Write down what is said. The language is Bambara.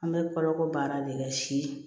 An bɛ koloko baara de kɛ si